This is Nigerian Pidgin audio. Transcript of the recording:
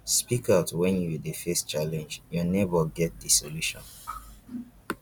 speak out when you dey face challenge your neighbour get di solution